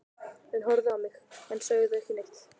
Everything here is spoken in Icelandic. Þau horfðu á mig en sögðu ekkert.